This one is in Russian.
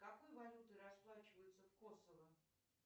какой валютой расплачиваются в косово